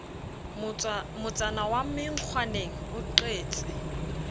motsana wa menkgwaneng o qetse